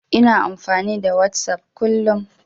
Ina amfani da Whatsapp kullum.